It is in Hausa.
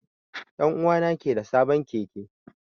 Dan'uwa na ke da sabon Keke.